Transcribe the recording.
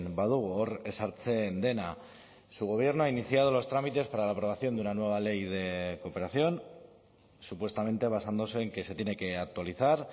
badugu hor ezartzen dena su gobierno ha iniciado los trámites para la aprobación de una nueva ley de cooperación supuestamente basándose en que se tiene que actualizar